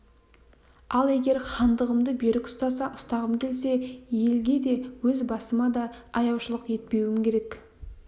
ал егер хандығымды берік ұстағым келсе елге де өз басыма да аяушылық етпеуім керек